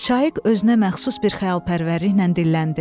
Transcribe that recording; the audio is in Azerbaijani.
Şaiq özünə məxsus bir xəyalpərvərliklə dilləndi.